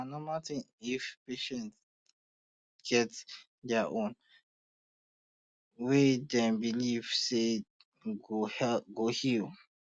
na normal thing if patient get dia own um way dem believe say dem go heal